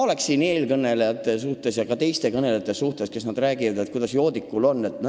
Eelkõnelejad ja ka teised on rääkinud joodiku valikutest.